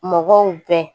Mɔgɔw bɛɛ